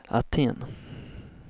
Aten